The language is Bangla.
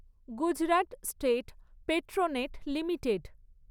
Gujarat state Petronet limited